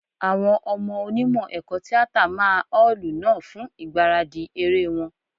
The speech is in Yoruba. Àwọn ọmọ Onímọ̀ ẹ̀kọ́ tíátà máa ọ́ọ̀lù náà fún ìgbáradì eré wọn.